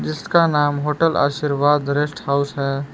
इसका नाम होटल आर्शीवाद रेस्ट हाउस है।